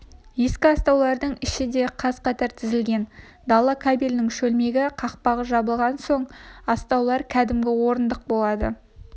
екі астаудың іші де қаз-қатар тізілген дала кабелінің шөлмегі қақпағы жабылған соң астаулар кәдімгі орындық болады